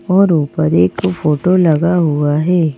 और ऊपर एक फोटो लगा हुआ है।